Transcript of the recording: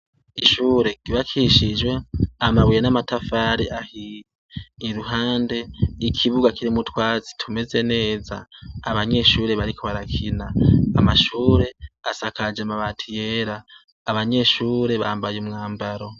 Ishure ryubakishijwe amabuye n'amatafari ahiye. Iruhande y'ikibuga kirimwo utwatsi tumeze neza. Abanyeshure bariko barakina. Amashure asakajwe amabati yera. Abanyeshure bambaye umwambaro.